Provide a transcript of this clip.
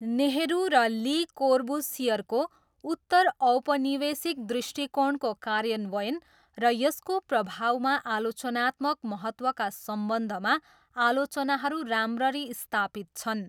नेहरू र ली कोर्बुसियरको उत्तरऔपनिवेशिक दृष्टिकोणको कार्यान्वयन र यसको प्रभावमा आलोचनात्मक महत्त्वका सम्बन्धमा आलोचनाहरू राम्ररी स्थापित छन्।